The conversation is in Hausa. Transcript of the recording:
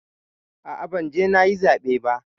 A'a, ban je nayi zaɓe ba.